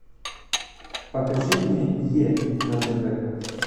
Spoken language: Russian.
покажи мне е на тв